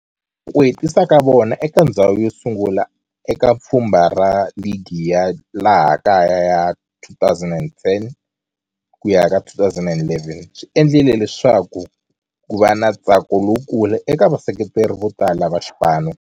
Ku hetisa ka vona eka ndzhawu yosungula eka pfhumba ra ligi ya laha kaya ya 2010 ku ya ka11 swi endle leswaku kuva na ntsako lowukulu eka vaseketeri votala va xipano.